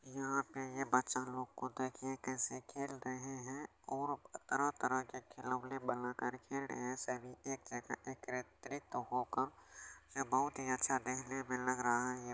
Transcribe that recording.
यहां पे ये बच्चा लोग को देखिए कैसे खेल रहे है और तरह-तरह के खिलौने बना करके खेल रहे है सेमि एक - एकत्रित होकर ये बहुत ही अच्छा देखने में लग रहा है।